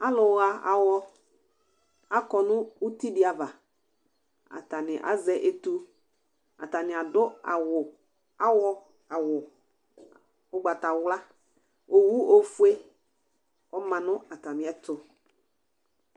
Alʋ ɣa awɔ akɔ nʋ uti dɩ ava; atanɩ azɛ etu, atanɩ adʋ awʋ awɔ vu awʋ ʋgbatawla Owu ofue ɔma nʋ atamɩɛtʋ